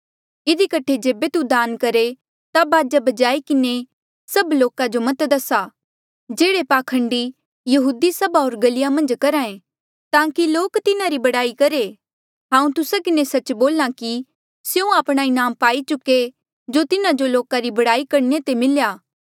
इधी कठे जेबे तू दान करहे ता बाजा बजाई के सब लोको मत दसा जेह्ड़ा पाखंडी यहूदी सभा होर गल्हिया मन्झ करहा ऐें ताकि लोक तिन्हारी बड़ाई करहे हांऊँ तुस्सा किन्हें सच्च बोल्हा आ कि स्यों आपणा इनाम पाई चुके जो तिन्हा जो लोका री बड़ाई करणे ते मिल्या